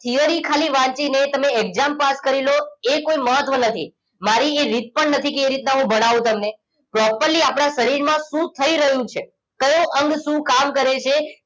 Theory ખાલી વાંચી ને તમે exam પાસ કરી લો એ કોઈ મહત્વ નથી મારી એ રીત પણ નથી કે એવી રીતના હું ભણાવું તમને properly આપણા શરીર માં શું થઈ રહ્યું છે કયો અંગ શું કામ કરે છે